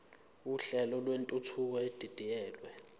uhlelo lwentuthuko edidiyelwe